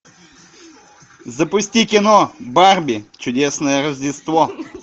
запусти кино барби чудесное рождество